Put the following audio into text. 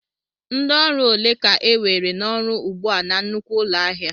Ndị ọrụ ole ka enwere n'ọrụ ugbu a na nnukwu ụlọ ahịa?